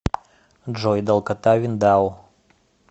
джой долгота виндау